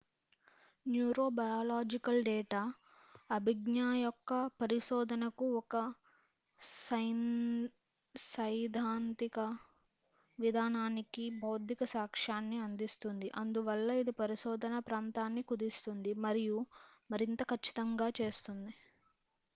neurobiological data అభిజ్ఞయొక్క పరిశోధనకు ఒక సైద్ధాంతిక విధానానికి భౌతిక సాక్ష్యాన్ని అందిస్తుంది అందువల్ల ఇది పరిశోధన ప్రాంతాన్ని కుదిస్తుంది మరియు మరింత కచ్చితంగా చేస్తుంది